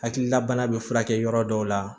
Hakilila bana bɛ furakɛ yɔrɔ dɔw la